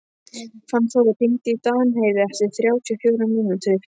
Fannþór, hringdu í Danheiði eftir þrjátíu og fjórar mínútur.